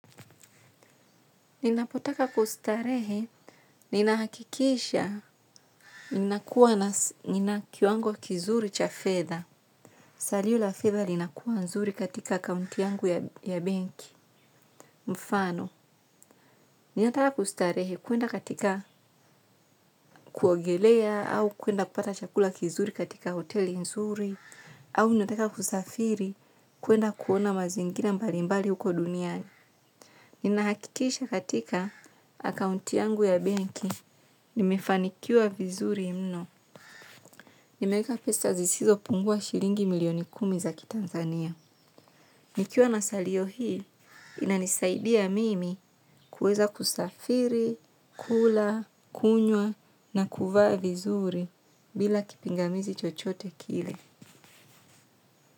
Ninapotaka kustarehe, ninahakikisha, ninakuwa na nina kiwango kizuri cha fedha. Salio la fedha linakuwa nzuri katika akaunti yangu ya benki. Mfano, ninataka kustarehe kuenda katika kuogelea, au kuenda kupata chakula kizuri katika hoteli nzuri, au ninataka kusafiri, kuenda kuona mazingina mbali mbali uko duniani. Ninahakikisha katika akaunti yangu ya benki, nimefanikiwa vizuri mno. Nimeweka pesa zisizopungua shilingi milioni kumi za kitanzania. Nikiwa na salio hii, inanisaidia mimi kuweza kusafiri, kula, kunywa na kuvaa vizuri bila kipingamizi chochote kile.